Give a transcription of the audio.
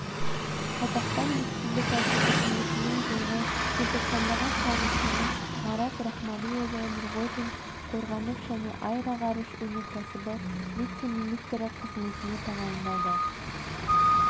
қазақстан республикасы үкіметінің жылғы желтоқсандағы қаулысымен марат рахмалиұлы нұрғожин қорғаныс және аэроғарыш өнеркәсібі вице-министрі қызметіне тағайындалды